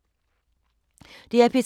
DR P3